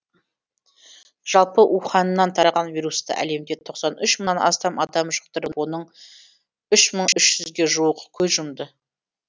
жалпы уханьнан тараған вирусты әлемде тоқсан үш мыңнан астам адам жұқтырып оның үш мың үш жүзге жуығы көз жұмды